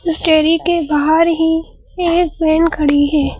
Mystery के बाहर ही एक वैन खड़ी है।